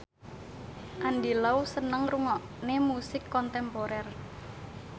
Andy Lau seneng ngrungokne musik kontemporer